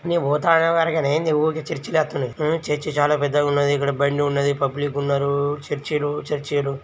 నేన్ పోతా అనేవరకి ఏంది ఊకే చర్చి లే అత్తున్నయ్హ్మ్ చర్చ్ చాలా పెద్దగున్నది ఇక్కడ బండి ఉన్నదిపబ్లిక్ ఉన్నరూ చర్చీ లు చర్చీ లు.